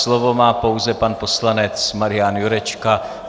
Slovo má pouze pan poslanec Marian Jurečka.